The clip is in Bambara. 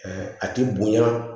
a ti bonya